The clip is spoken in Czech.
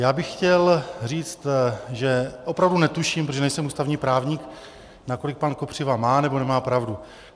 Já bych chtěl říct, že opravdu netuším, protože nejsem ústavní právník, nakolik pan Kopřiva má nebo nemá pravdu.